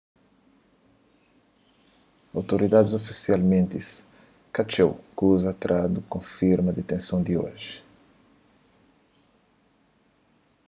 outoridadis ofisialmenti ka txeu kuza trandu konfirma ditenson di oji